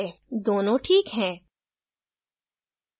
दोनों ठीक है